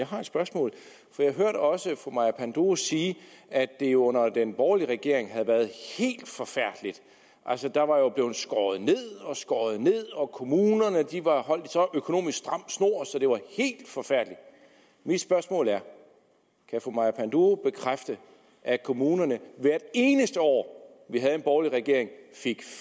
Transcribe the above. har et spørgsmål for jeg hørte også fru maja panduro sige at det under den borgerlige regering havde været helt forfærdeligt der var blevet skåret ned og skåret ned og kommunerne var holdt i så økonomisk stram snor så det var helt forfærdeligt mit spørgsmål er kan fru maja panduro bekræfte at kommunerne hvert eneste år vi havde en borgerlig regering fik